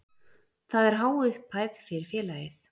Það er há upphæð fyrir félagið.